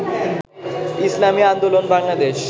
Islami Andolan Bangladesh